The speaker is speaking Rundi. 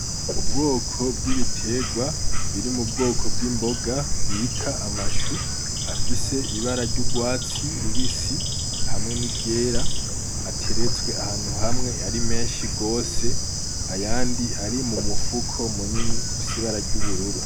Ubwoko bw'ibiterwa biri m'ubwoko bw'imboga bita amashou afise ibara ry'urwatsi rubisi hamwe ni ryera atertswe ahantu hamwe hari menshi gose, ayandi ari mumufuko munini ufise ibara ry'ubururu.